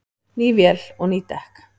Ný vél og ný dekk